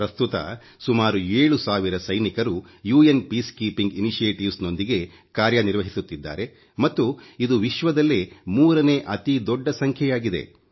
ಪ್ರಸ್ತುತ ಸುಮಾರು 7 ಸಾವಿರ ಸೈನಿಕರು ವಿಶ್ವಸಂಸ್ಥೆಯ ಶಾಂತಿ ಪ್ರಕ್ರಿಯೆಯೊಂದಿಗೆ ಕಾರ್ಯ ನಿರ್ವಹಿಸುತ್ತಿದ್ದಾರೆ ಮತ್ತು ಇದು ವಿಶ್ವದಲ್ಲೇ 3ನೇ ಅತಿದೊಡ್ಡ ಸಂಖ್ಯೆಯಾಗಿದೆ